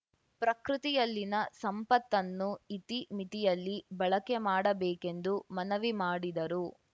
ಪ್ರಕೃತಿಯಲ್ಲಿನ ಸಂಪತ್ತನ್ನು ಇತಿ ಮಿತಿಯಲ್ಲಿ ಬಳಕೆ ಮಾಡಬೇಕೆಂದು ಮನವಿ ಮಾಡಿದರು